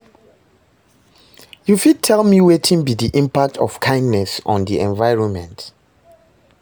You fit tell me wetin be di impact of kindness on di environment?